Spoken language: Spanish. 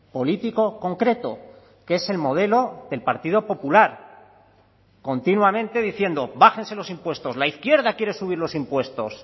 político concreto que es el modelo del partido popular continuamente diciendo bájense los impuestos la izquierda quiere subir los impuestos